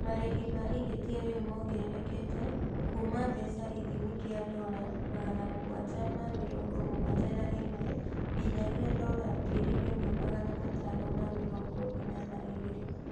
Marĩhi ma ihĩtia rĩu mongererekete Kuma mbeca ithimi kia dola magana mũgwanja ma mĩrongo mũgwanja na ĩmwe nginyagia dola ngiri imwe magana matano ma mĩrongo ĩna na igĩrĩ